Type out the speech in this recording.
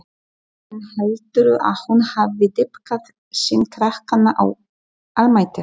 Nóttin, heldurðu að hún hafi dýpkað sýn krakkanna á almættið?